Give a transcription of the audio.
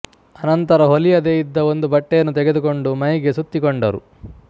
ಅನಂತರ ಹೊಲಿಯದೆ ಇದ್ದ ಒಂದು ಬಟ್ಟೆಯನ್ನು ತೆಗೆದುಕೊಂಡು ಮೈಗೆ ಸುತ್ತಿಕೊಂಡರು